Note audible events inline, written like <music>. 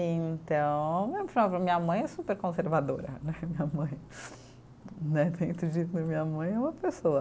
Então, <unintelligible> minha mãe é super conservadora <laughs> né, minha mãe, né, dentro disso minha mãe é uma pessoa.